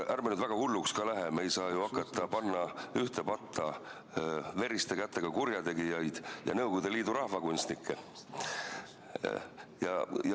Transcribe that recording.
Ärme nüüd väga hulluks ka läheme, me ei saa ju hakata ühte patta panema veriste kätega kurjategijaid ja Nõukogude Liidu rahvakunstnikke.